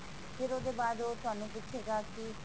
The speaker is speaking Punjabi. ਫਿਰ ਇਹਦੇ ਬਾਅਦ ਉਹ ਤੁਹਾਨੂੰ ਪੁੱਛੇਗਾ ਕਿ